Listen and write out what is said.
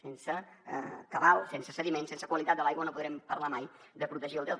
sense cabal sense sediments sense qualitat de l’aigua no podrem parlar mai de protegir el delta